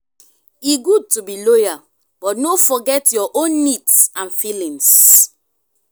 e good to be loyal but no forget your own needs and feelings.